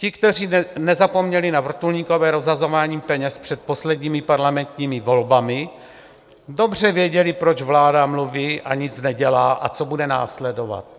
Ti, kteří nezapomněli na vrtulníkové rozhazování peněz před posledními parlamentními volbami, dobře věděli, proč vláda mluví a nic nedělá a co bude následovat.